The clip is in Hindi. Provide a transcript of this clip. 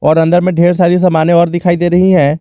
और अंदर में ढेर सारी समाने और दिखाई दे रही है।